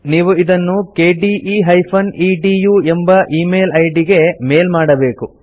ನೀವು ಇದನ್ನು kde ಎದು ಎಂಬ ಈಮೇಲ್ ಐಡಿ ಗೆ ಮೇಲ್ ಮಾಡಬೇಕು